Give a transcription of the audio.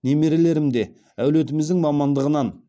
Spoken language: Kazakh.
немерелерім де әулетіміздің мамандығынан